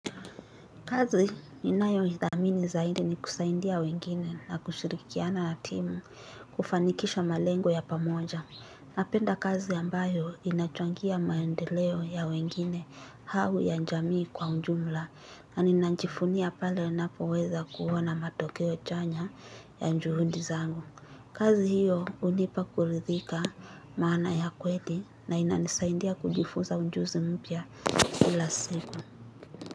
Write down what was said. Kazi ninayo hii thamini zaidi ni kusaindia wengine na kushirikiana na timu kufanikisha malengo ya pamoja. Napenda kazi ambayo inachangia maendeleo ya wengine hau ya njamii kwa unjumla na ninanjifunia pale unapoweza kuona matokeo chanya ya njuhundi zangu. Kazi hiyo unipa kuridhika maana ya kweli na inanisaindia kujifunza unjuzi mpya kila siku.